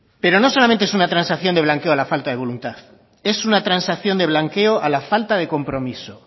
pero no solamente es una transacción de blanqueo a la falta de voluntad es una transacción de blanqueo a la falta de compromiso